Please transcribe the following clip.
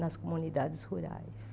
nas comunidades rurais.